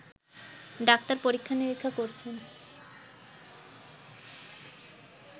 doctor পরীক্ষা-নিরীক্ষা করছেন